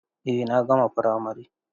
Eh na gama firamare.